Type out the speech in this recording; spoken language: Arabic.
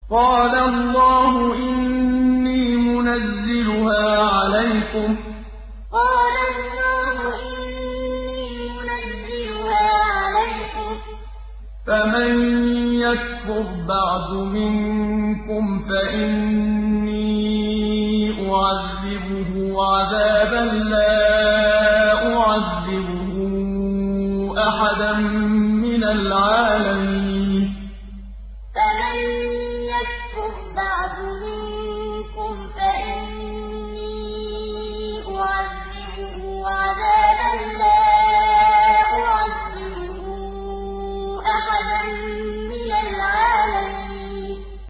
قَالَ اللَّهُ إِنِّي مُنَزِّلُهَا عَلَيْكُمْ ۖ فَمَن يَكْفُرْ بَعْدُ مِنكُمْ فَإِنِّي أُعَذِّبُهُ عَذَابًا لَّا أُعَذِّبُهُ أَحَدًا مِّنَ الْعَالَمِينَ قَالَ اللَّهُ إِنِّي مُنَزِّلُهَا عَلَيْكُمْ ۖ فَمَن يَكْفُرْ بَعْدُ مِنكُمْ فَإِنِّي أُعَذِّبُهُ عَذَابًا لَّا أُعَذِّبُهُ أَحَدًا مِّنَ الْعَالَمِينَ